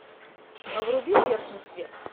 вруби верхний свет